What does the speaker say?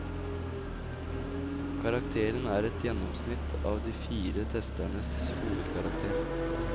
Karakteren er et gjennomsnitt av de fire testernes hovedkarakter.